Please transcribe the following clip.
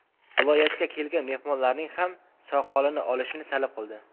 Viloyatga kelgan mehmonlarning ham soqolini olishni talab qildi.